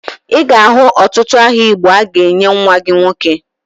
Ị ga-ahụ ọtụtụ aha igbo ị ga-enye nwa gị nwoke